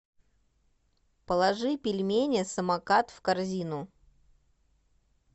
положи пельмени самокат в корзину